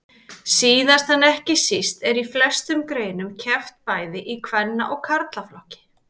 Síðast en ekki síst er í flestum greinum keppt bæði í kvenna og karlaflokki.